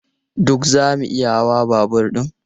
Duk zamu iya hawa babur ɗin?